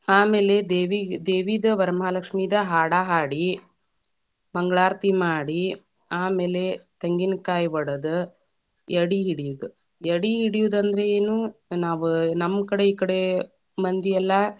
ಆಮೇಲೆ ದೇವಿಗ್‌, ದೇವಿದ ವರಮಹಾಲಕ್ಷ್ಮೀದ ಹಾಡ ಹಾಡಿ, ಮಂಗಳಾರತಿ ಮಾಡಿ, ಆಮೇಲೆ ತೆಂಗಿನಕಾಯಿ ಒಡದ, ಎಡಿ ಇಡಿಯೋದ, ಎಡಿ ಇಡಿಯೋದ ಅಂದ್ರ ಎನ್‌ ನಾವ್‌ ನಮ್ಮ ಕಡೆ ಈಕಡೆ ಮಂದಿ ಎಲ್ಲಾ.